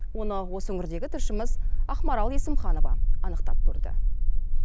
оны осы өңірдегі тілшіміз ақмарал есімханова анықтап көрді